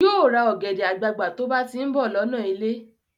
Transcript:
Yóò ra ọ̀gẹ̀dẹ̀ àgbagbà tó bá ti ń bọ̀ lọ́nà ilé